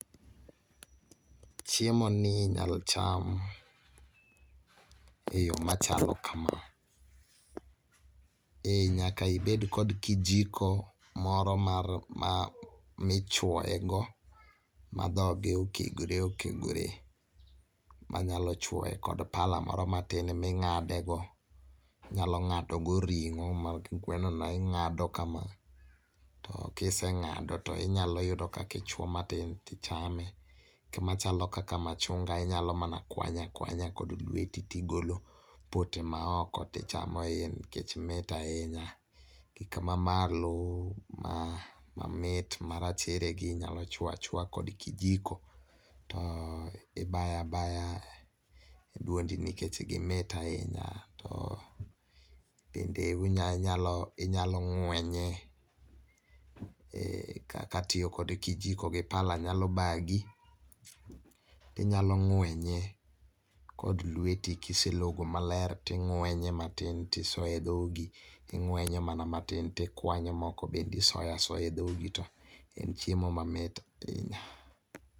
Chiemo ni inyalo cham e yoo machalo kama : nyaka ibed kod kijiko moro mar ma michuoye go ma dhoge okegore okegore manyalo chuoye kod pala moro matin ming'ade go, inyalo ng'ado go ring'o mag gweno no ing'ado kama to kiseng'ado tinyalo yudo kakichuoyo matin tichame .Kama chalo kaka machunga inyalo mana kwanya kwanya kod lweti tigolo pote maoko tichamo iye nikech mit ahinya. Kaka mamalo mamit marachere gi inyalo chuoyo achuoya kod kijiko tibayabaya e duondi nikech gimit ahinya to bende unya inyalo ng'wenye .Kaka tiyo kod pala gi kijiko nyalo bagi , tinyalo ng'wenye kod lweti kiselogo maler ting'wenye matin tisoye dhogi ing'wenye matin tikwanyo moko bende isoyasoya e dhogi to en chiemo mamit ahinya.